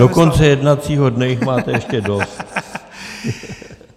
Do konce jednacího dne jich máte ještě dost.